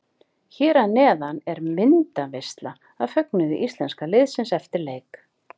Hér að neðan er myndaveisla af fögnuðu íslenska liðsins eftir leik.